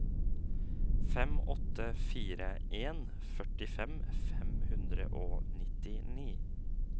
fem åtte fire en førtifem fem hundre og nittini